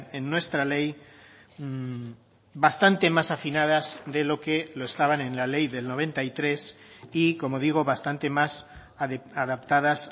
en nuestra ley bastante más afinadas de lo que lo estaban en la ley del noventa y tres y como digo bastante más adaptadas